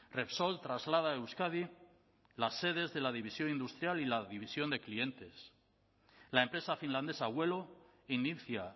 repsol traslada a euskadi las sedes de la división industrial y la división de clientes la empresa finlandesa vuelo inicia